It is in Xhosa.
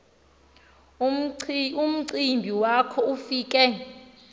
umcimbi walo ufike